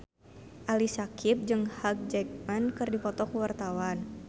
Ali Syakieb jeung Hugh Jackman keur dipoto ku wartawan